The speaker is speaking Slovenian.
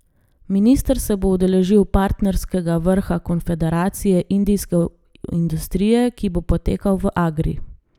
Minister se bo udeležil Partnerskega vrha Konfederacije indijske industrije, ki bo potekal v Agri.